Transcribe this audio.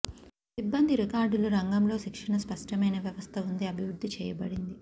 సిబ్బంది రికార్డులు రంగంలో శిక్షణ స్పష్టమైన వ్యవస్థ ఉంది అభివృద్ధి చేయబడింది